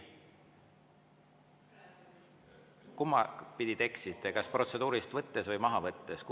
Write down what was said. Kumbapidi te eksisite, kas protseduurilist võttes või maha võttes?